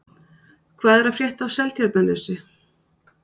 Hvað er að frétta af Seltjarnarnesi?